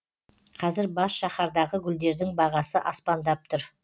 қазір бас шаһардағы гүлдердің бағасы аспандап тұр